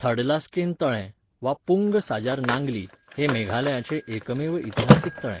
थडलास्केन तळें वा पुंग साजार नांगली हें मेघालयाचें एकमेव इतिहासीक तळें.